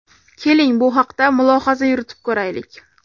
Keling, bu haqda mulohaza yuritib ko‘raylik.